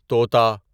طوطا